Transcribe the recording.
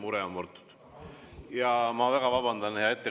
Nii et see mure on murtud.